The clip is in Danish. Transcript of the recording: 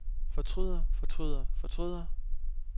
fortryder fortryder fortryder